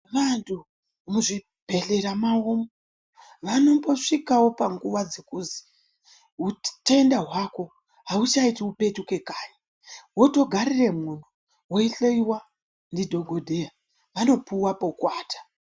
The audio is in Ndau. Muzvibhedhlera mawo vanombosvikawo panguwa dzekuzi utenda hwako ahuchaiti upeyuke kanyi wotogaremwo weihloyiwa ndidhokodheya vanopuwa pekuata.